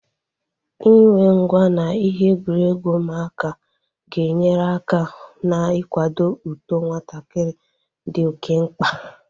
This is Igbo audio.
Inwe ngwá na ihe egwuregwu ụmụaka ga-enyere aka ná-ikwado uto nwatakịrị dị oké mkpa